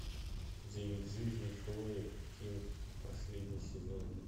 девять жизней хлои кинг последний сезон